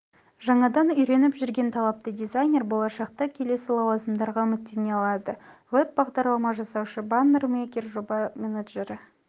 жаңадан үйреніп жүрген талапты дизайнер болашақта келесі лауазымдарға үміттене алады веб-бағдарлама жасаушы баннер-мейкер жоба менеджері